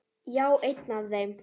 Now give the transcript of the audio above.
Já, einn af þeim